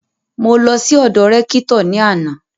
Mo lọ sí ọ́dọ Rẹ́kítọ̀ ní àná